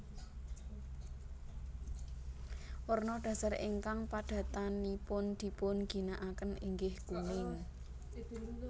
Werna dhasar ingkang padatanipun dipun ginakaken inggih kuning